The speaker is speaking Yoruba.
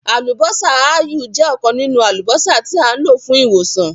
“Àlùbọ́sà ááyù” jẹ́ ọ̀kan nínú àlùbọ́sà tí à ń lò fún ìwòsàn.